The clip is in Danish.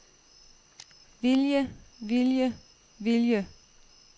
vilje vilje vilje